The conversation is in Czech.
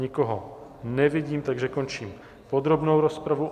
Nikoho nevidím, takže končím podrobnou rozpravu.